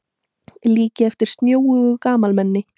Líki eftir snjóugu gamalmenni.